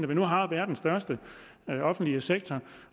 vi nu har verdens største offentlige sektor